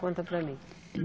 Conta para mim.